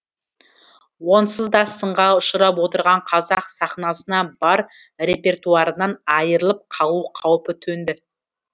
онсыз да сынға ұшырап отырған қазақ сахнасына бар репертуарынан айырылып қалу қаупі төнді